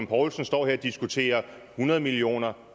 poulsen står her og diskuterer hundrede millioner